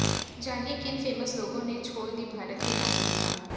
जानिए किन फेमस लोगों ने छोड़ दी भारत की नागरिकता